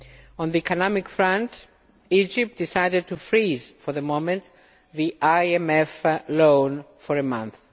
On the economic front, Egypt decided to freeze for the moment the IMF loan for a month.